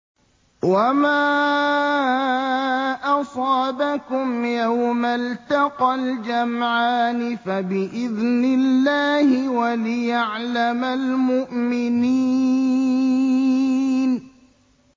وَمَا أَصَابَكُمْ يَوْمَ الْتَقَى الْجَمْعَانِ فَبِإِذْنِ اللَّهِ وَلِيَعْلَمَ الْمُؤْمِنِينَ